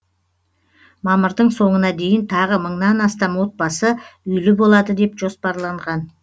мамырдың соңына дейін тағы мыңнан астам отбасы үйлі болады деп жоспарланған